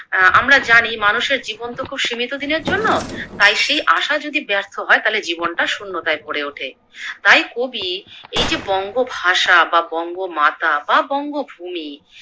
অ্যা আমরা জানি মানুষের জীবন তো খুব সীমিত দিনের জন্য, তাই সেই আশা যদি ব্যর্থ হয় তাহলে জীবনটা শূন্যতায় ভোরে ওঠে। তাই কবি এই যে বঙ্গ ভাষা বা বঙ্গ মাতা বা বঙ্গভূমি